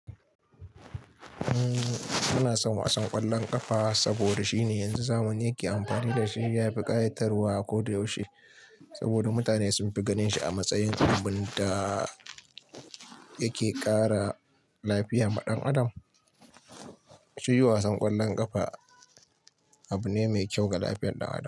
Muna son wasan ƙwallon ƙafa saboda shine yanzu zamani yake amfani da shi ya fi ƙayatarwa a koda yaushe. Saboda mutane sun fi ganin shi a matsayin abun da yake ƙara lafiyama ɗan adam. Shi wasan ƙwallon ƙafa abu ne mai kyau ga lafiyar ɗan adam.